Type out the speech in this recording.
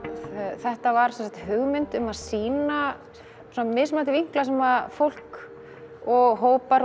þetta var sem sagt hugmynd um að sýna mismunandi vinkla sem fólk og hópar og